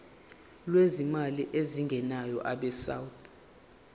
lwezimali ezingenayo abesouth